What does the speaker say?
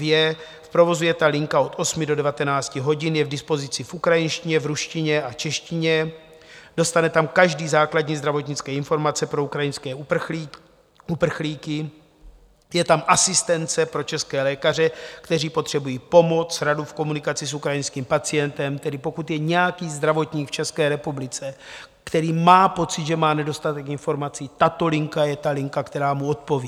V provozu je ta linka od 8 do 19 hodin, je k dispozici v ukrajinštině, v ruštině a češtině, dostane tam každý základní zdravotnické informace pro ukrajinské uprchlíky, je tam asistence pro české lékaře, kteří potřebují pomoc, radu v komunikaci s ukrajinským pacientem - tedy pokud je nějaký zdravotník v České republice, který má pocit, že má nedostatek informací, tato linka je ta linka, která mu odpoví.